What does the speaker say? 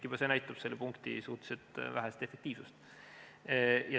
Juba see näitab selle punkti suhteliselt vähest efektiivsust.